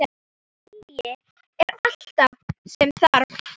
Vilji er allt sem þarf.